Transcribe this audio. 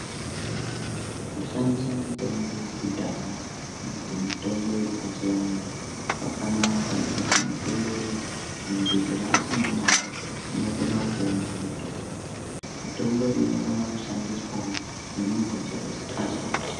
Kushandisa mitombo yekudhaya kana kuti mitombo yepachivantu Kwakanaka ngekuti mitombo iyi muntu chero asina mare unokona kuonawo mitombo iyi. Mitombo iyi inokonawo kushandiswawo nemuntu chero usingashandi.